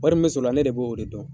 Wari min bɛ sɔrɔ ola ne be o de dɔn